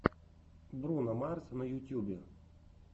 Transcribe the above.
бруно марс на ютьюбе